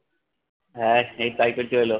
হে এইতো এলো।